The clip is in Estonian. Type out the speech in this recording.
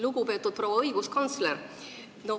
Lugupeetud proua õiguskantsler!